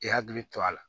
I hakili to a la